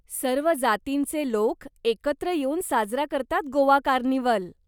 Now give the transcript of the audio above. सर्व जातींचे लोक एकत्र येऊन साजरा करतात गोवा कार्निव्हल.